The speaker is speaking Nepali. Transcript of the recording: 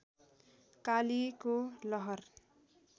कालीको लहर